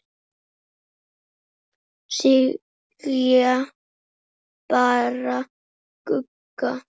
Segja bara Gugga.